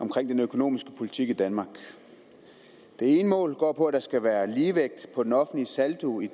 omkring den økonomiske politik i danmark det ene mål går på at der skal være ligevægt på den offentlige saldo i